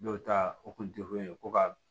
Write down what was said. Dɔw ta o kun ko ka